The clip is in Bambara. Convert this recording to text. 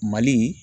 Mali